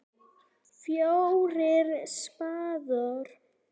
FJÓRIR spaðar.